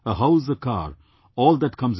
A house, a car all that comes later